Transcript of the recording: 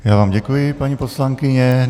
Já vám děkuji, paní poslankyně.